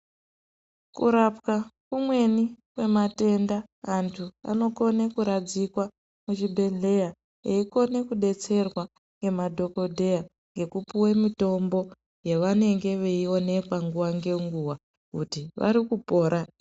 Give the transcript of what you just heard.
Kurapwa kumweni kwematenda antu anokone kuradzikwa muchibhedhleya eikone kudetserwa ngemadhokodheya ngekupuwe mitombo yavanenge veionekwa nguva ngenguva kuti vari kupora.